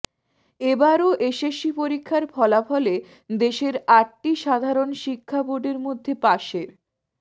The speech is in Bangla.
এবারও এসএসসি পরীক্ষার ফলাফলে দেশের আটটি সাধারণ শিক্ষা বোর্ডের মধ্যে পাসের